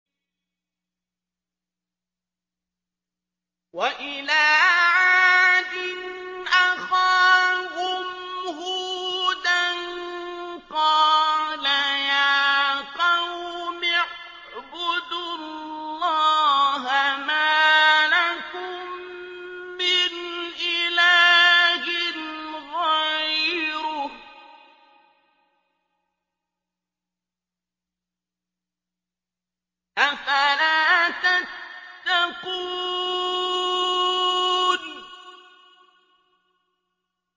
۞ وَإِلَىٰ عَادٍ أَخَاهُمْ هُودًا ۗ قَالَ يَا قَوْمِ اعْبُدُوا اللَّهَ مَا لَكُم مِّنْ إِلَٰهٍ غَيْرُهُ ۚ أَفَلَا تَتَّقُونَ